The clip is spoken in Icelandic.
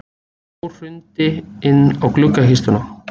Snjór hrundi inn á gluggakistuna.